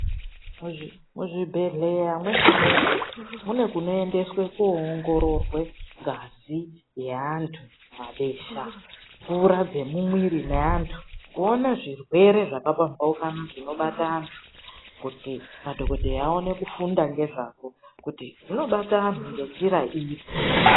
Muzvibhedhlera mweshe mweshe mune kunoendeswe koongororwe ngazi yeanthu, mabesha, mvura dzemumuiri meanthu kuona zvirwere zvakapamhaukana zvinobata anhu kuti madhokodheya aone kufunda ngezvazvo kuti zvinobata anhu ngenjira iri.